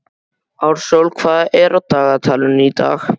Ársól, hvað er á dagatalinu í dag?